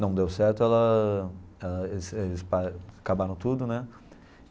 Não deu certo, ela eles eles pa acabaram tudo, né?